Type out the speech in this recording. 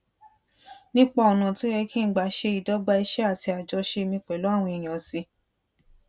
nípa ònà tó yẹ kí n gbà se idogba iṣé àti àjọṣe mi pèlú àwọn èèyàn sí